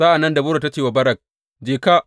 Sa’an nan Debora ta ce wa Barak, Je ka!